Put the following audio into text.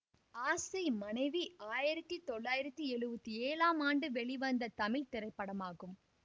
ஆசை மனைவி ஆயிரத்தி தொள்ளாயிரத்தி எழுவத்தி ஏழாம் ஆண்டு வெளிவந்த தமிழ் திரைப்படமாகும்